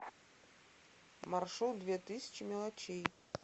маршрут две тысячи мелочей